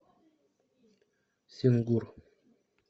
сингур